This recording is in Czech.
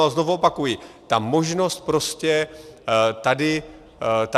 A znovu opakuji, ta možnost prostě tady je.